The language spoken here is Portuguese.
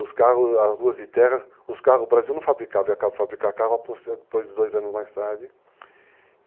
carros, as ruas de terra, os carros, o Brasil não fabricava e acabou de fabricar carros depois de dois anos mais tarde.